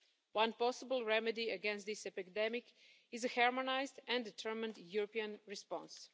One possible remedy against this epidemic is a harmonised and determined European response.